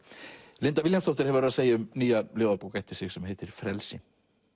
Linda Vilhjálmsdóttir segir um nýja ljóðabók eftir sig sem heitir frelsi